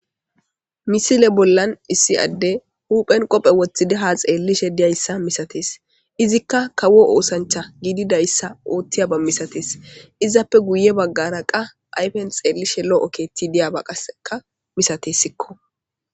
Misile bollan issi adde huphen qophe woththidi ha xeellishe diyayssa misatees izikka kawo oosancha giididayssa oottiya ba misatees izappe guye baggara qa ayfen xeellishe lo7o keetti diyaba qaseka misatessikko.